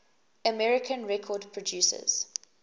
american record producers